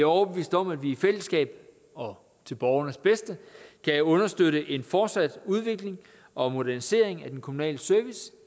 overbevist om at vi i fællesskab og til borgernes bedste kan understøtte en fortsat udvikling og modernisering af den kommunale service